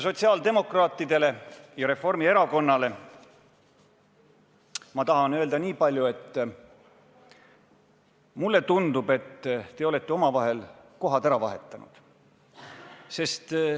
Sotsiaaldemokraatidele ja Reformierakonnale tahan ma öelda nii palju, et mulle tundub, et te olete omavahel kohad ära vahetanud.